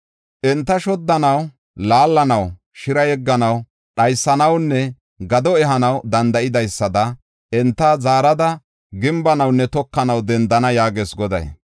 Enta shoddanaw, laallanaw, shira yegganaw, dhaysanawunne gado ehanaw dendidaysada enta zaarada gimbanawunne tokanaw dendana” yaagees Goday.